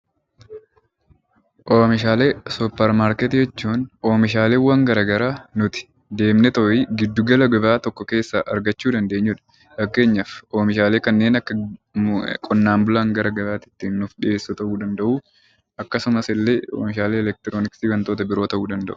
Oomishaalee suupparmaarkeetii jechuun oomishaaleewwan garaagaraa deemnee giddu gala gabaa keessaa argachuu dandeenyudha. Fakkeenyaaf oomishaalee kanneen akka qonnaan bulaan gara gabaatti ittiin nuuf dhiyeessu ta'uu danda'u. Akkasumas illee meeshaalee elektroniksii wantoota garaagaraa ta'uu danda'u.